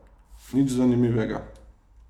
Nič zanimivega.